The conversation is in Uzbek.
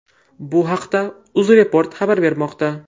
Bu haqda Uzreport xabar bermoqda .